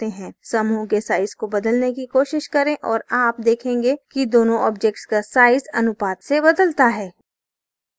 समूह के साइज को बदलने की कोशिश करें और आप देखेंगे कि दोनों objects का साइज अनुपात से बदलता है